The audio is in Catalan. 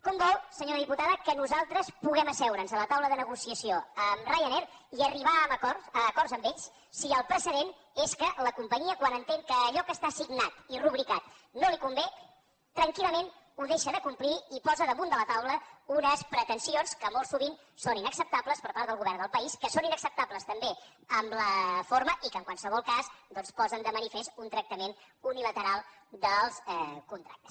com vol senyora diputada que nosaltres puguem asseure’ns a la taula de negociació amb ryanair i arribar a acords amb ells si el precedent és que la companyia quan entén que allò que està signat i rubricat no li convé tranquil·lament ho deixa de complir i posa damunt de la taula unes pretensions que molt sovint són inacceptables per part del govern del país que són inacceptables també en la forma i que en qualsevol cas doncs posen de manifest un tractament unilateral dels contractes